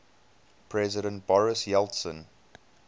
president boris yeltsin